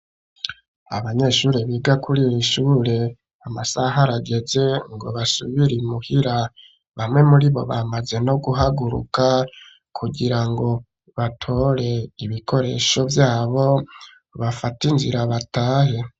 Abanyeshure biga kuri rino shure amasaha rageze ngo basubire imuhira bamwe muribo bamaze no guhaguruka kugira ngo batore ibikoresho vyabo bafate inzira batahe.